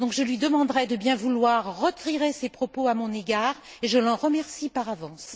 Je lui demanderai donc de bien vouloir retirer ses propos à mon égard et je l'en remercie par avance.